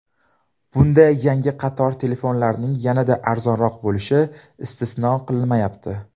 Bunda yangi qator telefonlarining yanada arzonroq bo‘lishi istisno qilinmayapti.